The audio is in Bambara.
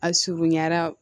A surunyara